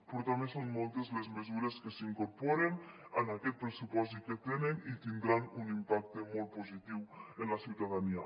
però també són moltes les mesures que s’incorporen en aquest pressupost i que tenen i tindran un impacte molt positiu en la ciutadania